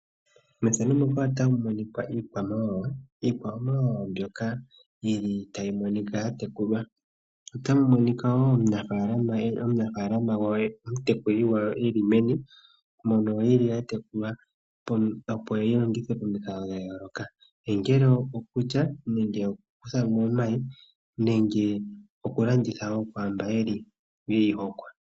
Iikwamawawa mbyoka ya tekulwa komutekuli gwayo opo yi longithwe pomikalo dha yooloka ongele okulya nenge oku kuthamo omayi nenge oku landitha kwaamba yeyi hokwa.